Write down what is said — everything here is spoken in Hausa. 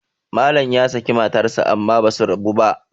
Malam ya saki matarsa amma ba su rabu ba